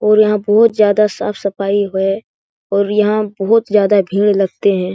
और यहाँ बहुत ज्यादा साफ-सफाई है और यहाँ बहुत ज्यादा भीड़ लगते हैं ।